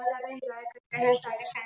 बहोत एन्जॉय करते है सारे फ्रेंड् --